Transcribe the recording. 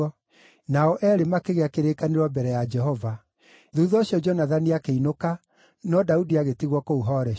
Nao eerĩ makĩgĩa kĩrĩkanĩro mbere ya Jehova. Thuutha ũcio Jonathani akĩinũka, no Daudi agĩtigwo kũu Horeshu.